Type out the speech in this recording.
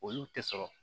Olu tɛ sɔrɔ